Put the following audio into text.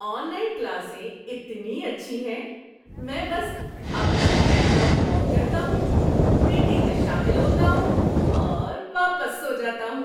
On line کلاسیں اتنی اچھی ہیں۔ میں بس اپنا لیپ ٹاپ آن کرتا ہوں، میٹنگ میں شامل ہوتا ہوں اور واپس سو جاتا ہوں۔